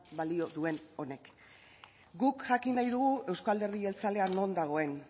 balio duen honek guk jakin nahi dugu euzko alderdi jeltzalea non dagoen